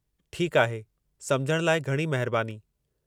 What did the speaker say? ठीकु आहे, समुझण लाइ घणी महिरबानी।